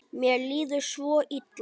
Mér líður svo illa.